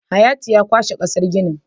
Hayatu ya kwashe kasar ginin